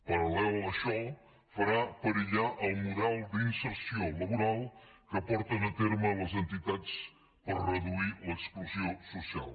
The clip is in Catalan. parallel a això farà perillar el model d’inserció laboral que porten a terme les entitats per reduir l’exclusió social